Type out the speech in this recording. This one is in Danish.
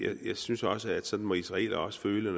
af jeg synes også at sådan må israelere også føle